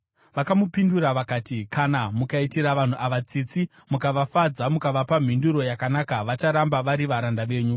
Vakamupindura vakati, “Kana mukaitira vanhu ava tsitsi mukavafadza mukavapa mhinduro yakanaka vacharamba vari varanda venyu.”